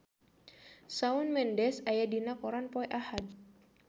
Shawn Mendes aya dina koran poe Ahad